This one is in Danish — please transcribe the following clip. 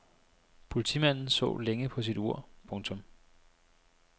Politimanden så længe på sit ur. punktum